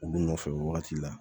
U nɔfɛ wagati la